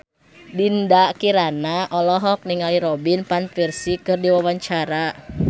Dinda Kirana olohok ningali Robin Van Persie keur diwawancara